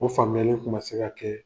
O famuyali kun ma se ka kɛ.